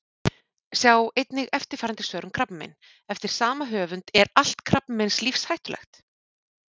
Sjá einnig eftirfarandi svör um krabbamein: Eftir sama höfund Er allt krabbamein lífshættulegt?